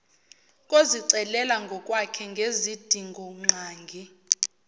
kozicelela ngokwakhe ngezidingongqangi